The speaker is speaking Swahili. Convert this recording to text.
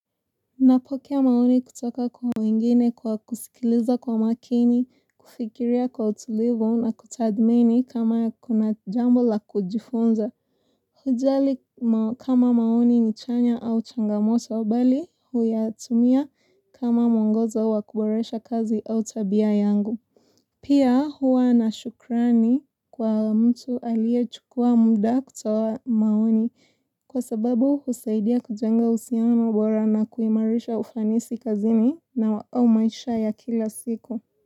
Napokea maoni kutoka kwa wengine kwa kusikiliza kwa makini, kufikiria kwa utulivu na kutadhmini kama kuna jambo la kujifunza. Hujali kama maoni ni chanya au changamoto, bali huyatumia kama mwongozo wa kuboresha kazi au tabia yangu. Pia huwa na shukrani kwa mtu aliye chukua muda kutoa maoni kwa sababu husaidia kujenga uhusiano bora na kuimarisha ufanisi kazini na wa maisha ya kila siku.